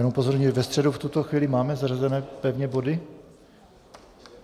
Jen upozorňuji - ve středu v tuto chvíli máme zařazeny pevně body?